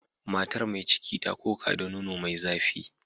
Matar mai ciki ta koka da nono mai zafi.